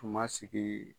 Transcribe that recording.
Tun ma sigi